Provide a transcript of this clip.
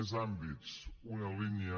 més àmbits una línia